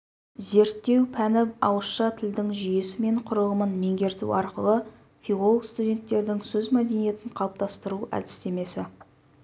зерттеу пәні ауызша тілдің жүйесі мен құрылымын меңгерту арқылы филолог-студенттердің сөз мәдениетін қалыптастыру әдістемесі